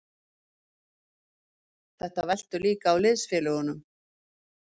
Þetta veltur líka á liðsfélögunum.